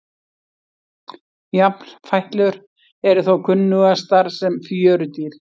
Jafnfætlur eru þó kunnugastar sem fjörudýr.